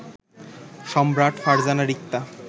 Samrat, Farzana Rikta